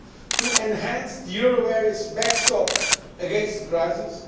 to enhance the euro area's backstops against the crisis